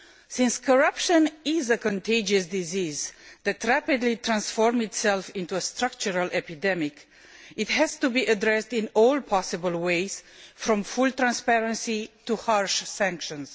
Since corruption is a contagious disease that rapidly transforms itself into a structural epidemic, it has to be addressed by all possible means, from full transparency to harsh sanctions.